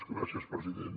gràcies president